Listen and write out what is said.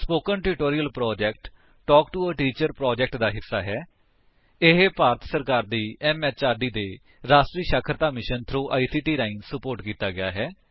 spoken tutorial talk to a teacher project ਦਾ ਹਿੱਸਾ ਹੈ ਜਿਸਨੂੰ ਰਾਸ਼ਟਰੀ ਸਿੱਖਿਆ ਮਿਸ਼ਨ ਨੇ ਆਈਸੀਟੀ ਦੇ ਮਾਧਿਅਮ ਵਲੋਂ ਸਹਿਯੋਗ ਦਿੱਤਾ ਹੈ